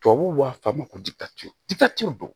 Tubabuw b'a fɔ a ma ko